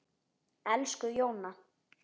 Elsku Jóna.